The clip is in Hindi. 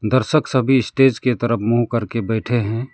दर्शक सभी स्टेज के तरफ मुंह कर के बैठे है।